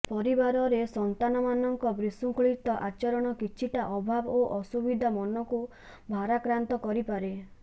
ପରିବାରରେ ସନ୍ତାନମାନଙ୍କ ବିଶୃଙ୍ଖଳିତ ଆଚରଣ କିଛିଟା ଅଭାବ ଓ ଅସୁବିଧା ମନକୁ ଭାରାକ୍ରାନ୍ତ କରିପାରେ